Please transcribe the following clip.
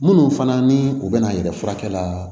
Minnu fana ni u bɛna yɛlɛ furakɛla